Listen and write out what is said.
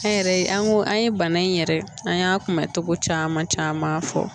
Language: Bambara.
An yɛrɛ an ko an ye bana in yɛrɛ an y'a kunbɛ cogo caman caman fɔ